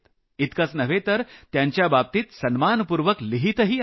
उलट त्यांच्या बाबतीत आदरानं लिहितही आहेत